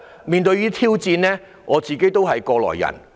面對這些挑戰，我也是過來人。